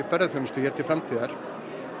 ferðaþjónustu hér til framtíðar